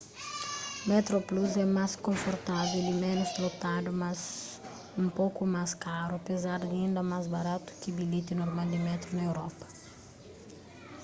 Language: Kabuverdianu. metroplus é más konfortável y ménus lotadu mas un poku más karu apézar di inda más baratu ki bilheti normal di métru na europa